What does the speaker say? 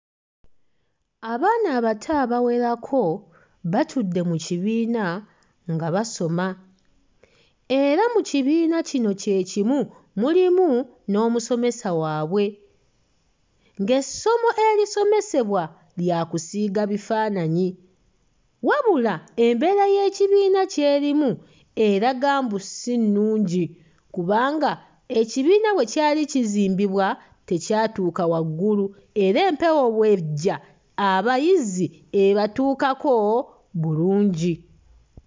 Abaana abato abawerako batudde mu kibiina nga basoma era mu kibiina kino kye kimu mulimu n'omusomesa waabwe, ng'essomo erisomesebwa lya kusiiga bifaanaanyi. Wabula embeera y'ekibiina ky'erimu eraga mbu si nnungi kubanga ekibiina bwe kyali kizimbibwa tekyatuuka waggulu era empewo bw'ejja abayizi ebatuukako bulungi.